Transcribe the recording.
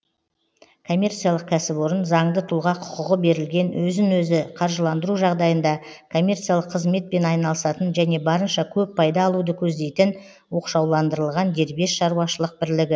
коммерциялық кәсіпорын заңды тұлға құқығы берілген өзін өзі қаржыландыру жағдайында коммерциялық қызметпен айналысатын және барынша көп пайда алуды көздейтін оқшауландырылған дербес шаруашылық бірлігі